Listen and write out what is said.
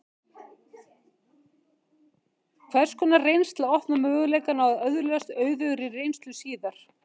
Hvers konar reynsla opnar möguleikana á að öðlast auðugri reynslu síðar?